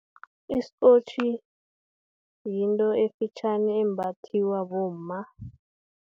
Isikotjhi, yinto efitjhani embathwa bomma.